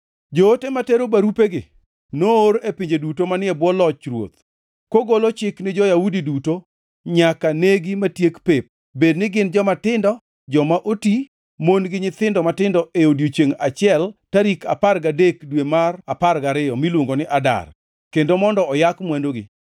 Joote matero barupegi noor e pinje duto manie bwo loch ruoth kogolo chik ni jo-Yahudi duto nyaka negi matiek pep, bed ni gin jomatindo, joma oti, mon gi nyithindo matindo e odiechiengʼ achiel tarik apar gadek, dwe mar apar gariyo, miluongo ni Adar, kendo mondo oyak mwandugi.